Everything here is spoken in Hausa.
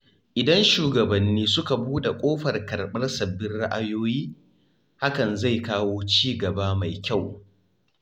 Idan shugabanni suka buɗe ƙofar karɓar sabbin ra’ayoyi, hakan zai kawo ci gaba mai kyau.